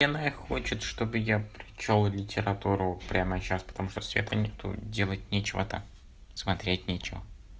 энрай хочет чтобы я прочёл литературу прямо сейчас потому что света никто делать нечего так смотреть нечего